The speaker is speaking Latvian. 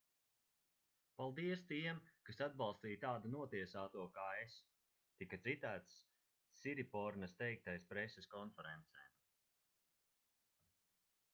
paldies tiem kas atbalstīja tādu notiesāto kā es tika citēts siripornas teiktais preses konferencē